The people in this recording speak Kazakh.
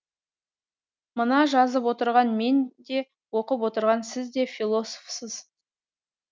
мына жазып отырған мен де оқып отырған сіз де философсыз